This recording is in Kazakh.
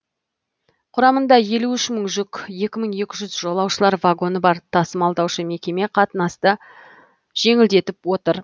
құрамында елу үш мың жүк екі мың екі жүз жолаушылар вагоны бар тасымалдаушы мекеме қатынасты жеңілдетіп отыр